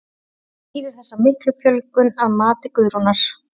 En hvað skýrir þessa miklu fjölgun að mati Guðrúnar?